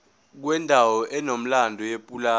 kwendawo enomlando yepulazi